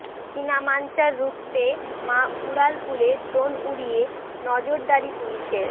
চিনা মাঞ্জা রুখতে মা উড়ালপুলে ড্রোন উড়িয়ে নজরদারি পুলিশের